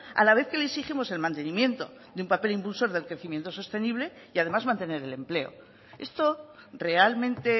a la vez que le exigimos el mantenimiento de un papel impulsor del crecimiento sostenible y además mantener el empleo esto realmente